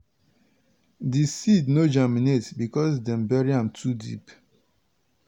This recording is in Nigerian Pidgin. di seed no germinate because dem bury am too deep.